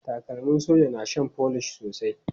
Takalmin soja na shan folish sosai.